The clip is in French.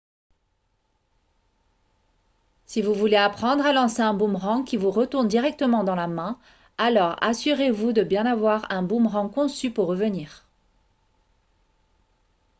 si vous voulez apprendre à lancer un boomerang qui vous retourne directement dans la main alors assurez-vous de bien avoir un boomerang conçu pour revenir